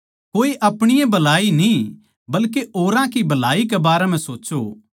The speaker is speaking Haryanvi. कोए अपणी ए भलाई नै न्ही बल्के औरां की भलाई के बारें म्ह सोच्चों